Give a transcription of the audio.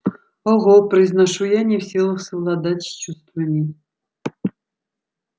ого произношу я не в силах совладать с чувствами